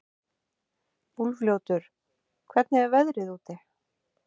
Úlfljótur, hvernig er veðrið úti?